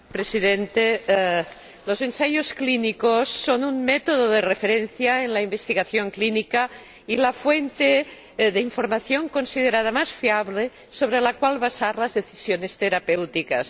Señor Presidente, los ensayos clínicos son un método de referencia en la investigación clínica y la fuente de información considerada más fiable sobre la que basar las decisiones terapéuticas.